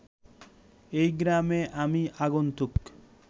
এ গ্রামে আমি আগন্তুক